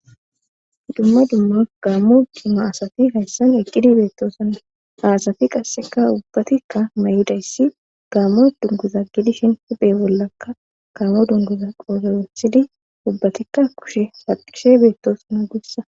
Dumma dumma gaammo dimma asati hayssan eqqidi beettoosanna aasati qasseka ubbatikka may7idayssi gaammo dunguza gidishin huphe bollakka kaamo dunguza qoozoresidi ubbatikka kushe haqishe beettoosana guussa